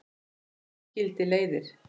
Svo skildi leiðir.